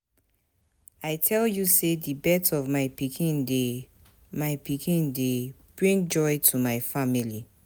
I tell you sey di birth of my pikin dey my pikin dey bring joy to my family.